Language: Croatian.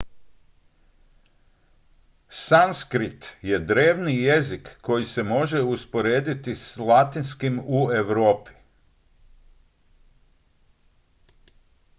sanskrit je drevni jezik koji se može usporediti s latinskim u europi